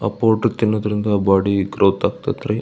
ಆಹ್ಹ್ powder ತಿನ್ನೋದ್ರಿಂದ body growth ಆಗ್ತಾತ್ ರೀ.